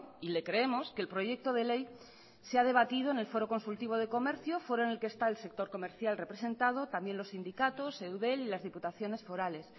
y le creemos que el proyecto de ley se ha debatido en el foro consultivo de comercio foro en el que está el sector comercial representado también los sindicatos eudel y las diputaciones forales